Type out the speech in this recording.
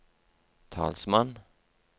talsmann